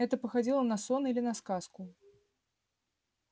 это походило на сон или на сказку